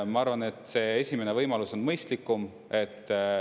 Ma arvan, et see esimene võimalus on mõistlikum.